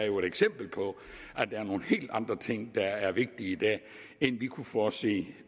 jo et eksempel på at det er nogle helt andre ting der er vigtige i dag end vi kunne forudse